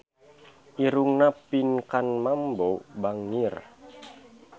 Irungna Pinkan Mambo bangir